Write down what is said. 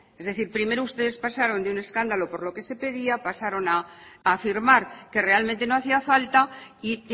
es decir primero ustedes pasaron de un escándalo por lo que se pedía pasaron a afirmar que realmente no hacía falta y